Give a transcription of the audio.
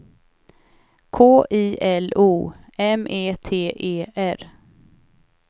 K I L O M E T E R